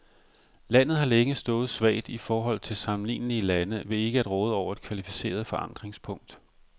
Landet har længe stået svagt i forhold til sammenlignelige lande ved ikke at råde over et kvalificeret forankringspunkt.